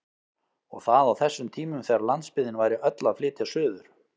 Og það á þessum tímum þegar landsbyggðin væri öll að flytja suður!